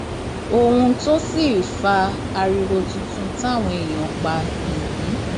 ohun tó sì fa ariwo tuntun táwọn èèyàn ń pa nìyí